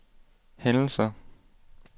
hændelser